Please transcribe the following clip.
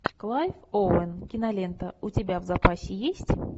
клайв оуэн кинолента у тебя в запасе есть